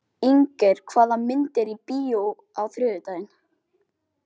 Inger, hvaða myndir eru í bíó á þriðjudaginn?